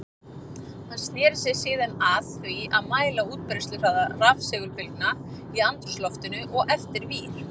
Hann sneri sér síðan að því að mæla útbreiðsluhraða rafsegulbylgna í andrúmsloftinu og eftir vír.